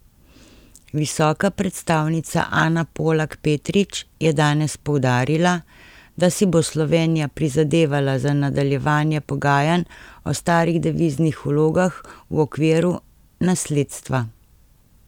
Visoka predstavnica Ana Polak Petrič je danes poudarila, da si bo Slovenija prizadevala za nadaljevanje pogajanj o starih deviznih vlogah v okviru nasledstva.